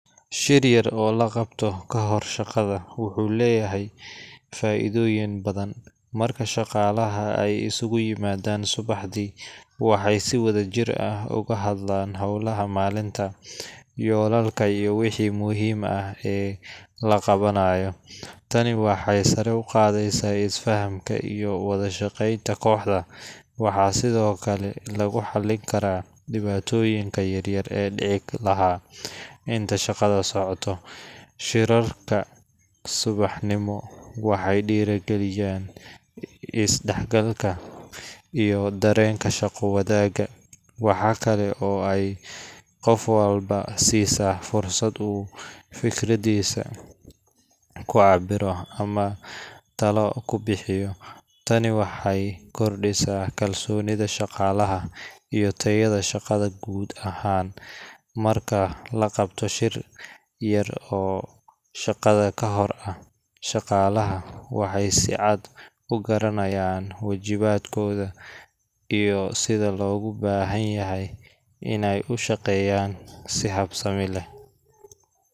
Shir yar oo la qabto ka hor shaqada wuxuu leeyahay faa’iidooyin badan. Marka shaqaalaha ay isugu yimaadaan subaxdii, waxay si wadajir ah uga hadlaan hawlaha maalinta, yoolalka, iyo wixii muhiim ah ee la qabanayo. Tani waxay sare u qaaddaa isfahamka iyo wada shaqeynta kooxda. Waxaa sidoo kale lagu xallin karaa dhibaatooyinka yaryar ee dhici lahaa inta shaqada socoto. Shirarka subaxnimo waxay dhiirrigeliyaan is-dhexgalka iyo dareenka shaqo wadaagga. Waxaa kale oo ay qof walba siisaa fursad uu fikraddiisa ku cabbiro ama talo ku bixiyo. Tani waxay kordhisaa kalsoonida shaqaalaha iyo tayada shaqada guud ahaan. Marka la qabto shir yar oo shaqada ka hor ah, shaqaalaha waxay si cad u garanayaan waajibaadkooda iyo sida loogu baahan yahay inay u shaqeeyaan si habsami leh